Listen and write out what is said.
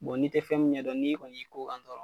n'i tɛ fɛn min ɲɛ dɔn n'i kɔni y'i ko kan dɔrɔn.